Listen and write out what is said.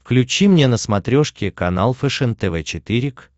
включи мне на смотрешке канал фэшен тв четыре к